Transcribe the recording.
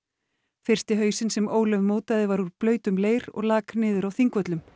fyrsti hausinn sem Ólöf mótaði var úr blautum leir og lak niður á Þingvöllum